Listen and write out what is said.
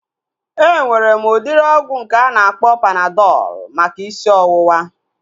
Enwere m udịri ọgwụ nke a na-akpọ Panadọl maka isi ọwụwa